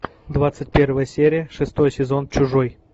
двадцать первая серия шестой сезон чужой